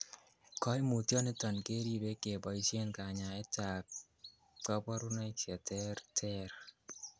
Koimutioniton keribe keboisien kanyaetab koborunoik cheterter.